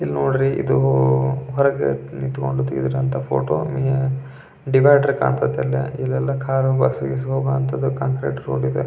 ಇಲ್ ನೋಡ್ರಿ ಇದು ಹೊರಗೆ ನಿಂತುಗೊಂಡು ತೇಗ್ತಿರದು ಫೋಟೋ ಡಿವೈಡರ್ ಕಾಂತೈತೆ ಇಲ್ಲಿ ಇಲ್ಲೆಲ್ಲಾ ಕಾರು ಬಸ್ಸು ಗಿಸ್ಸು ಹೋಗುವಂತದು ಕಾಂಕ್ರೀಟ್ ರೋಡ್ ಇದೆ --